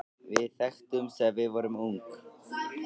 Við þekktumst þegar við vorum ung.